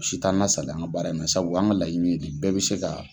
si t'an lasaliya an ka baara in na sabu an ka laɲini ye de bɛɛ bɛ se ka